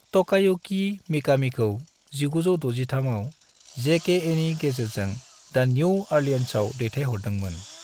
Takayuki मिकामीखौ 1963 आव जेकेएनि गेजेरजों द न्यू ऑरलियंसआव दैथाय हरदोंमोन।